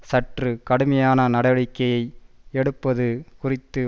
சற்று கடுமையான நடவடிக்கையை எடுப்பது குறித்து